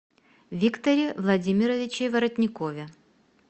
викторе владимировиче воротникове